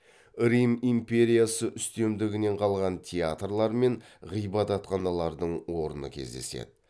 рим империясы үстемдігінен қалған театрлар мен ғибадатханалардың орны кездеседі